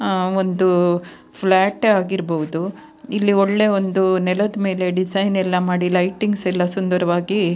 ಆಹ್ಹ್ ಒಂದು ಪ್ಲಾಟ್ ಆಗಿರ್ಬಹುದು ಇಲ್ಲಿ ಒಳ್ಳೆ ಒಂದು ನೆಲದ ಮೇಲೆ ಡಿಸೈನ್ ಎಲ್ಲ ಮಾಡಿ ಲೈಟಿಂಗ್ಸ್ ಎಲ್ಲ ಸುಂದರವಾಗಿ-